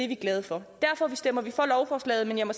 vi glade for derfor stemmer vi for lovforslaget men jeg må